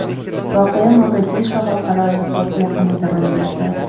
Voqea Mogadisho xalqaro aeroporti yaqinida ro‘y berdi.